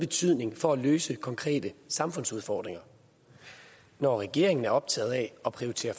betydning for at løse konkrete samfundsudfordringer når regeringen er optaget af at prioritere